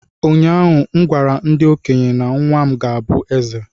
Ụnyahụ m gwara ndị okenye, nwa m ga-abụ eze!